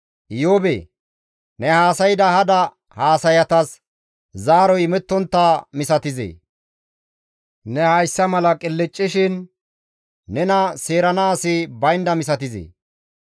Iyoobee! Ne haasayda hada haasayatas zaaroy imettontta misatizee? Ne hayssa mala qilccishin nena seerana asi bayndaz misatizee?